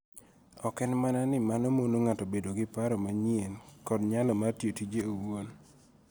Ok en mana ni mano mono ng'ato bedo gi paro manyien kod nyalo mar tiyo tije owuon